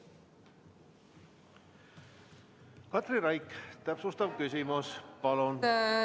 Katri Raik, täpsustav küsimus, palun!